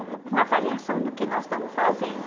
uma uma avaliação do que nós estamos fazendo.